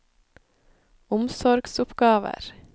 omsorgsoppgaver